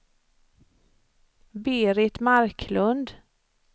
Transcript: Berit Marklund